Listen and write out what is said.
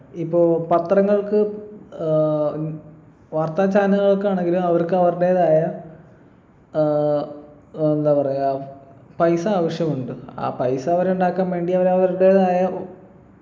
ഇപ്പൊ പത്രങ്ങൾക്ക് ഏർ ഉം വാർത്താ channel കൾക്കാണെങ്കിലും അവർക്ക് അവരുടേതായ ഏർ എന്താ പറയാ പൈസ ആവശ്യമുണ്ട് ആ പൈസ അവരുണ്ടാക്കാൻ വേണ്ടി അവര് അവരുടേതായ